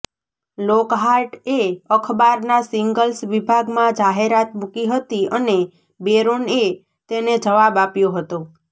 લોકહાર્ટએ અખબારના સિંગલ્સ વિભાગમાં જાહેરાત મૂકી હતી અને બેરોનએ તેને જવાબ આપ્યો હતો